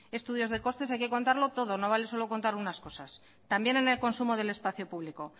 estudios de costes hay que contarlo todo no vale solo contar unas cosas también en el consumo del espacio público